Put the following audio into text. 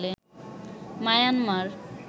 Myanmar